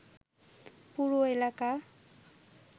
পুরো এলাকা